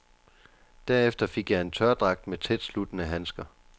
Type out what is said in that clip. Derefter fik jeg en tørdragt med tætsluttende handsker.